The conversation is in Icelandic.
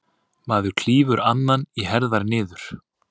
Maður klýfur annan í herðar niður.